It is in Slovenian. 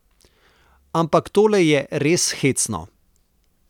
Ampak tole je res hecno.